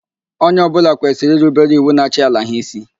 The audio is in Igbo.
Onye ọbụla kwesịrị irubere iwu na-achị ala ha ísí.